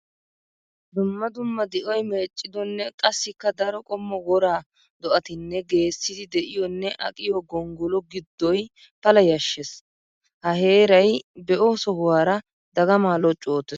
Dumma dumma di'oy meeccidonne qassikka daro qommo wora do'attinne geessiddi de'iyonne aqqiyo gonggolo gidoy pala yashees. Ha heeray be'o sohuwara dagama loccu oottees.